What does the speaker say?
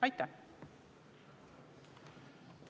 Aitäh!